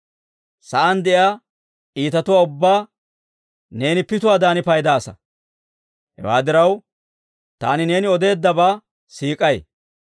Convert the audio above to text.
Sa'aan de'iyaa iitatuwaa ubbaa neeni pituwaadan paydaasa; hewaa diraw, taani neeni odeeddabaa siik'ay.